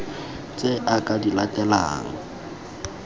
tse a ka di latelang